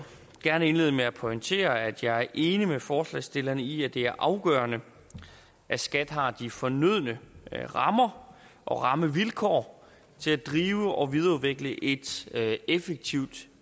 gerne indlede med at pointere at jeg er enig med forslagsstillerne i at det er afgørende at skat har de fornødne rammer og rammevilkår til at drive og videreudvikle et effektivt